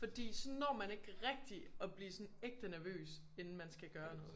Fordi så når man ikke rigtig at blive sådan ægte nervøs inden man skal gøre noget